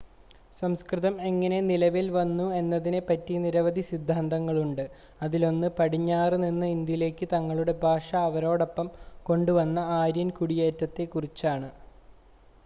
സംസ്‌കൃതം എങ്ങനെ നിലവിൽ വന്നു എന്നതിനെ പറ്റി നിരവധി സിദ്ധാന്തങ്ങൾ ഉണ്ട് അതിലൊന്ന് പടിഞ്ഞാറ് നിന്ന് ഇന്ത്യയിലേക്ക് തങ്ങളുടെ ഭാഷ അവരോടൊപ്പം കൊണ്ടുവന്ന ആര്യൻ കുടിയേറ്റത്തെ കുറിച്ചാണ്